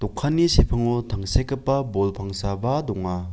sepango tangsekgipa bol pangsaba donga.